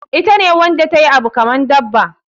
Ita ne Wanda tayi Abu kaman Saba.